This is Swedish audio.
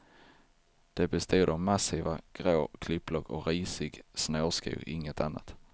De bestod av massiva grå klippblock och risig snårskog, inget annat.